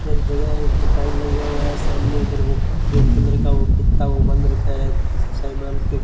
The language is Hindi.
एक जगह है उसमें टाइल लगा हुआ हैं सामने उधर वो रेड कलर का वो कित्ता वो बंद रखा हैं कुछ सायमान को --